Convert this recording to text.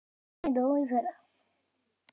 Konan mín dó í fyrra.